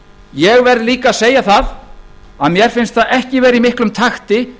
ég verð líka að segja það að mér finnst það ekki vera í miklum takti